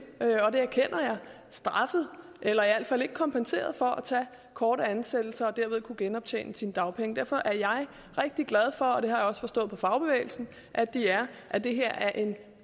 straffet eller i hvert fald ikke kompenseret for at tage korte ansættelser for derved at kunne genoptjene sine dagpenge derfor er jeg rigtig glad for og det har jeg også forstået på fagbevægelsen at de er at det her er en